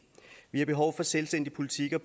vi har behov for selvstændige politikker